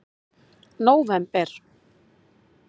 nóvember